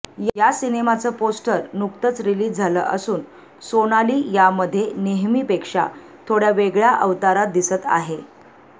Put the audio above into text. या सिनेमाचं पोस्टर नुकतच रिलीज झालं असून सोनाली यामध्ये नेहमीपेक्षा थोड्या वेगळ्या अवतारात दिसत आहे